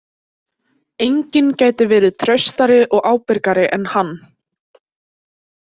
Enginn gæti verið traustari og ábyrgari en hann.